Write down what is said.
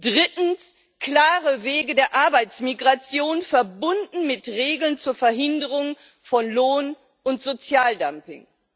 Drittens klare Wege der Arbeitsmigration, verbunden mit Regeln zur Verhinderung von Lohn und Sozialdumping.